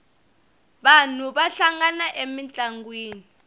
vanhu va hlangana emintlangwini